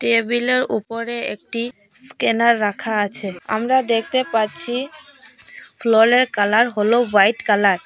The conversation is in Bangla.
টেবিলের উপরে একটি স্ক্যানার রাখা আছে আমরা দেখতে পাচ্ছি ফ্লোরের কালার হল হোয়াইট কালার ।